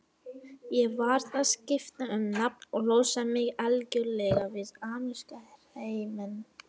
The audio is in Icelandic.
Ég varð að skipta um nafn og losa mig algjörlega við ameríska hreiminn.